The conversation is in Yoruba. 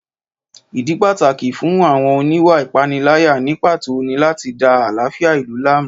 Ìdí pàtàkì fún àwọn oníwà ìpániláyà ní pàtó ni láti da àlàáfíà ìlú láàmú